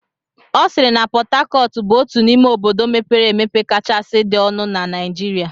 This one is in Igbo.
Ọ sịịrị na Pọt Hacọt bụ otu n'ime obodo mepere emepe kachasị dị ọnụ na Naijiria.